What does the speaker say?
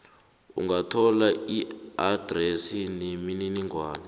ungathola iadresi nemininingwana